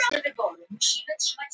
Boðar samkeppni í fraktflugi